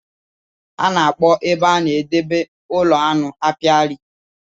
A na-akpọ ebe a na-edebe ụlọ aṅụ Apiary